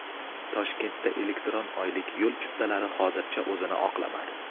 Toshkentda elektron oylik yo‘l chiptalari hozircha o‘zini oqlamadi.